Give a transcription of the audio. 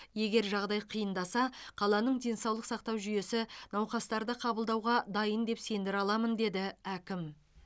егер жағдай қиындаса қаланың денсаулық сақтау жүйесі науқастарды қабылдауға дайын деп сендіре аламын деді әкім